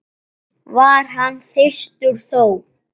var hann þyrstur þó.